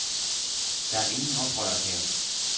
Der er ingen oprørere her.